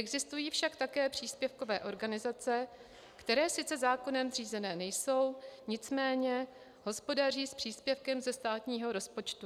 Existují však také příspěvkové organizace, které sice zákonem zřízené nejsou, nicméně hospodaří s příspěvkem ze státního rozpočtu.